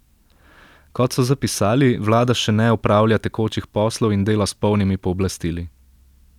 Kot so zapisali, vlada še ne opravlja tekočih poslov in dela s polnimi pooblastili.